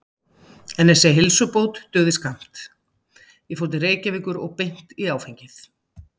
En þessi heilsubót dugði skammt, ég fór til Reykjavíkur og beint í áfengið.